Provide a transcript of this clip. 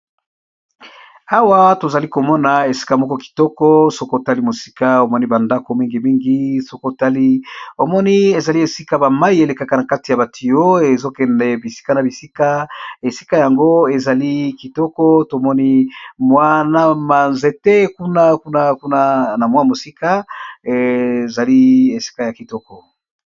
Awa tozali komona esika moko kitoko sokotali mosika omoni bandako mingi mingi, sokotali omoni ezali esika bamai elekaka na kati ya batuyo ezokende bisika na bisika, esika yango ezali kitoko tomoni mwa ba nzete kuna na kuna na mwa mosika ezali esika ya kitoko.